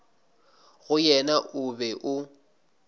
go yena o be o